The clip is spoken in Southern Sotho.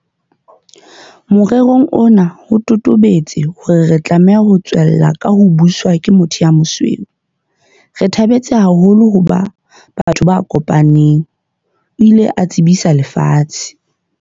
Morerong ona ho totobetse hore re tlameha ho tswella ka ho buswa ke motho ya mosweu. "Re thabetse haholo ho ba batho ba kopaneng," o ile a tsebisa lefatshe.